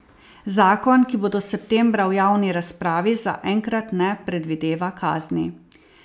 Zakon, ki bo do septembra v javni razpravi, zaenkrat ne predvideva kazni.